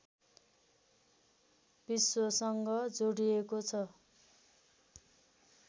विश्वसँग जोडिएको छ